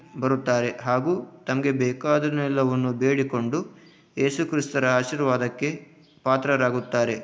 ಬರುತ್ತಾರೆ. ಹಾಗು ತಮಗೆ ಬೇಕಾದುದೆಲ್ಲವನ್ನು ಬೇಡಿಕೊಂಡು ಏಸು ಕ್ರಿಸ್ತರ ಆಶೀರ್ವಾದಕ್ಕೆ ಪಾತ್ರರಾಗುತ್ತಾರೆ.